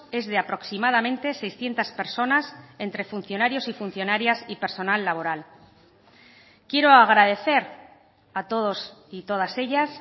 es de aproximadamente seiscientos personas entre funcionarios y funcionarias y personal laboral quiero agradecer a todos y todas ellas